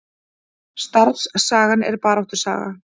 Starfssagan er baráttusaga